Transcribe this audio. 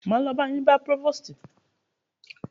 Máa lo ba yín bá próvòstì.